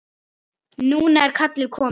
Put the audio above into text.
Núna er kallið komið.